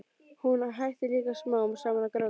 Og hún hættir líka smám saman að gráta.